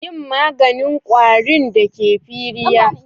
Yi maganin kwarin da ke firiya.